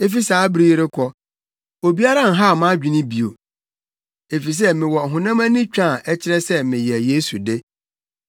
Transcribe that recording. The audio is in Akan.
Efi saa bere yi rekɔ, obiara nhaw mʼadwene bio, efisɛ mewɔ ɔhonam ani twã a ɛkyerɛ sɛ meyɛ Yesu de.